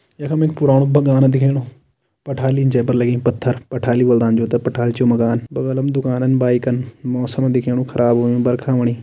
यख में एक पुराणों बगान दिखेणो पठालीन जे पर लगीं पत्थर पठाली बोलदन जो तें पठाल छू माकन बगल म दुकानन बाइकन मौसम दिखेणु ख़राब होयूँ बरखा होणी।